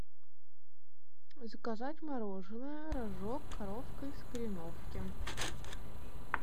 заказать мороженое рожок коровка из кореновки